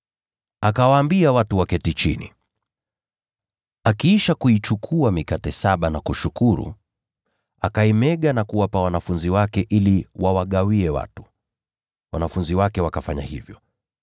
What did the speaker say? Akawaambia watu waketi chini. Akiisha kuichukua mikate saba na kushukuru, akaimega na kuwapa wanafunzi wake ili wawagawie watu. Wanafunzi wake wakafanya hivyo.